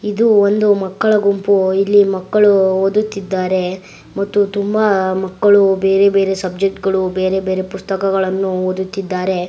ಇದು ಒಂದು ಮಕ್ಕಳ ಗುಂಪು ಇಲ್ಲಿ ಮಕ್ಕಳು ಓದುತ್ತಿದ್ದರೆ ಮತ್ತು ತುಂಬಾ ಮಕ್ಕಳು ಬೇರೆ ಬೇರೆ ಸಬ್ಜೆಕ್ಟ ಗಳು ಬೆರಬೆರೆ ಪುಸ್ತಕಗಳನ್ನು ಓದುತ್ತಿದ್ದರೆ .